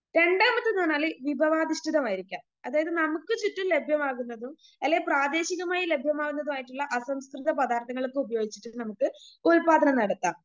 രണ്ടാമത്തെന്ന് പറഞ്ഞാല് വിഭവാധിഷ്ഠിതമായിരിക്കുക അതായത് നമുക്ക് ചുറ്റും ലഭ്യമാകുന്നതും അല്ലെങ്കിൽ പ്രാദേശികമായി ലഭ്യമാകുന്നതുമായിട്ടുള്ള സംസ്കൃത പദാർത്ഥങ്ങളൊക്കെ ഉപയോഗിച്ചിട്ട്‌ നമുക്ക് ഉൽപാദനം നടത്താം.